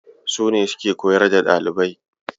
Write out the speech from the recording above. Su ne suke koyar da ɗalibai.